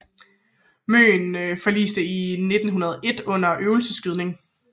Møen forliste i 1901 under en øvelsesskydning